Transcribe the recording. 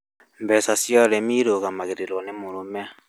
Mbeca cia ũrĩmi cirũgamagĩrĩrũo nĩ mũrũme